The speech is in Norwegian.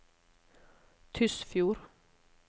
Tysfjord